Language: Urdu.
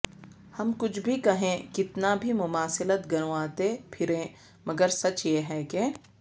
ہم کچھ بھی کہیں کتنا بھی مماثلت گنواتے پھریں مگر سچ یہ ہے کہ